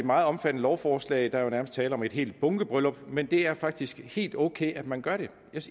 meget omfattende lovforslag ja der er nærmest tale om et helt bunkebryllup men det er faktisk helt ok at man gør det